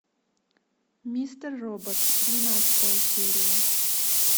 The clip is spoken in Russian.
мистер робот двенадцатая серия